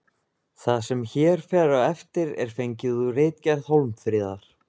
Það sem hér fer á eftir er fengið úr ritgerð Hólmfríðar.